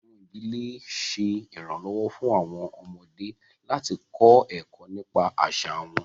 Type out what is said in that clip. Awọn idile le ṣe iranlọwọ fun awọn ọmọde lati kọ ẹkọ nipa aṣa wọn